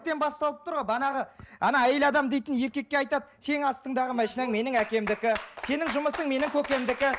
басталып тұр ғой манағы ана әйел адам дейтін еркекке айтады сенің астыңдағы машинаң менің әкемдікі сенің жұмысың менің көкемдікі